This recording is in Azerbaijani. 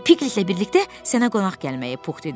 Piqletlə birlikdə sənə qonaq gəlməyi,” Pux dedi.